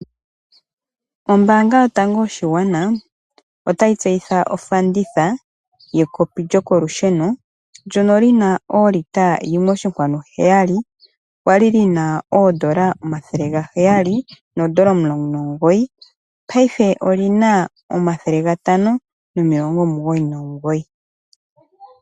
Ombaanga yotango yoshigwana otayi tseyitha ofanditha yekopi lyokolusheno ndyono lina olita yimwe oshinkwanu heyali, kwali lina oodola omathele gaheyali noodola omulongo nomugoyi, paife olina omathele gatano nomilongo omugoyi nomugoyi.